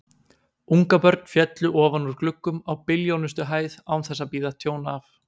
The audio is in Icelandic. Ungabörn féllu ofan úr gluggum á billjónustu hæð án þess að bíða tjón af.